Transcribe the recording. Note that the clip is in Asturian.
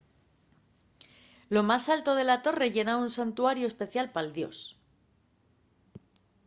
lo más alto de la torre yera un santuariu especial pal dios